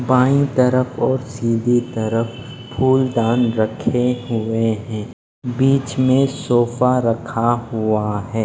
By तरफ और सीधी तरफ फुल दान रखे हुए है बिच में सोफा रखा हुआ है।